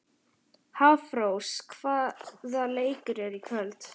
Hafrós, hvaða leikir eru í kvöld?